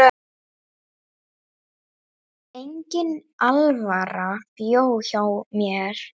Engin alvara bjó hjá mér.